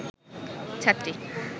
ছাত্রী